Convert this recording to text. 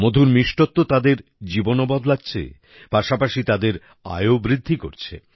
মধুর মিষ্টত্ব তাদের জীবনও বদলাচ্ছে পাশাপাশি তাদের আয়ও বৃদ্ধি করছে